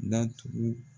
Datugu